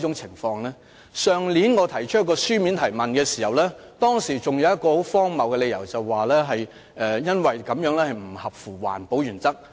去年當局就我的書面質詢提出了一個很荒謬的理由，指空調設備不合乎環保原則。